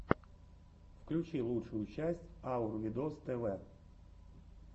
включи лучшую часть аур видос тв